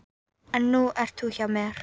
En nú ert þú hjá mér.